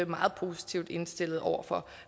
meget positivt indstillet over for